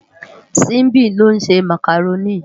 Simbi ló nsé mákáróni